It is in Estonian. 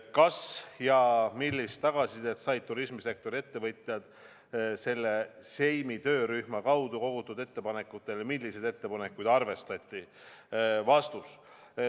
" Kas ja millist tagasisidet said turismisektori ettevõtjad selle Siemi töörühma kaudu kogutud ettepanekutele ja milliseid ettepanekuid arvestati?